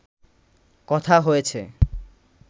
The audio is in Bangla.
কথা হয়েছে